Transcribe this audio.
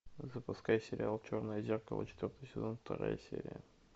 запускай сериал черное зеркало четвертый сезон вторая серия